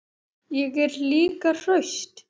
Ég er líka hraust.